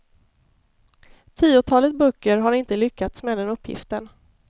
Tiotalet böcker har inte lyckats med den uppgiften.